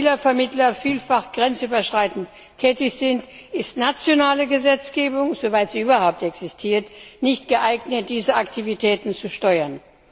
Weil Spielervermittler vielfach grenzüberschreitend tätig sind, ist nationale Gesetzgebung soweit sie überhaupt existiert nicht geeignet, diese Aktivitäten zu steuern.